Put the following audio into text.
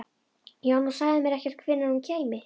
Já, en þú sagðir mér ekkert hvenær hún kæmi.